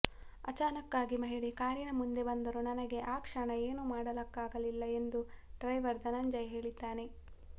ಆಚಾನಕ್ ಆಗಿ ಮಹಿಳೆ ಕಾರಿನ ಮುಂದೆ ಬಂದರು ನನಗೆ ಆ ಕ್ಷಣ ಏನು ಮಾಡಲಾಗಲಿಲ್ಲ ಎಂದು ಡ್ರೈವರ್ ಧನಂಜಯ್ ಹೇಳಿದ್ದಾನೆ